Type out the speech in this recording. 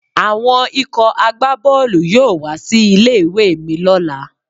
Àwọn ikọ̀ àgbá Bọ́ọ̀lù yóò wá sí ilé ìwé mi lọ́la.